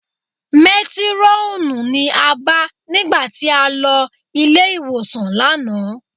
Métírọ́ọ̀nù ni a bá nígbà tí a lọ ilé-ìwòsàn lánàá